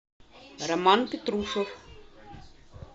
роман петрушев